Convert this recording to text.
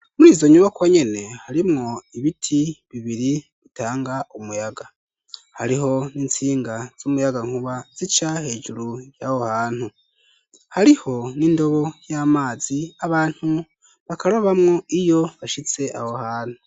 Muri izo nyuba ko nyene harimwo ibiti bibiri bitanga umuyaga hariho n'itsinga z'umuyaga nkuba zica hejuru y'aho hantu hariho n'indobo y'amazi abantu bakara bamwo iyo bashitse aho hantu.